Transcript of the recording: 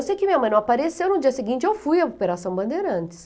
Eu sei que minha mãe não apareceu, no dia seguinte eu fui à Operação Bandeirantes.